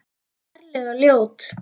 Ferlega ljót.